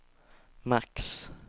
max